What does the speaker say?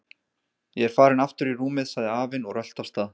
Ég er farinn aftur í rúmið sagði afinn og rölti af stað.